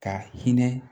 Ka hinɛ